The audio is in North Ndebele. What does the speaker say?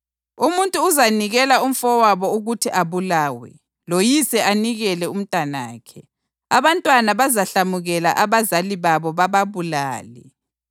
Umuntu uzanikela umfowabo ukuthi abulawe, loyise anikele umntanakhe; abantwana bazahlamukela abazali babo bababulale.